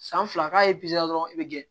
San fila k'a ye dɔrɔn i bɛ gɛn